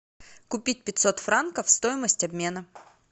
купить пятьсот франков стоимость обмена